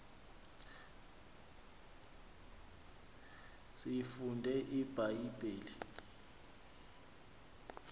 siyifunde ibha yibhile